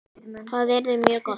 Það yrði mjög gott